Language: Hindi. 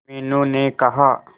मीनू ने कहा